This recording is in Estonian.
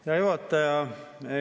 Hea juhataja!